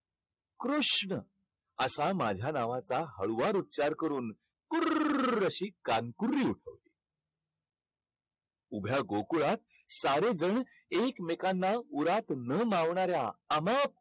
कृष्ण असा माझ्या नावाचा हळुवार उच्चार करून कुर्ररर अशी कान कुरली उठवली. उभ्या गोकुळात सारेजण एकमेकांना उरात न मावणाऱ्या अमाप